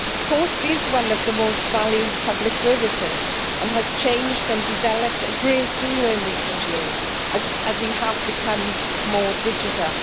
Post is one of the most valued public services, and has changed and developed a great deal in recent years as we have become more digital.